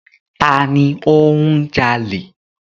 Ta ni ó ń jalè?